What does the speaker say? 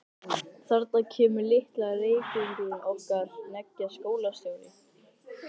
Þarna kemur litli Reykvíkingurinn okkar hneggjaði Jóhann skólastjóri.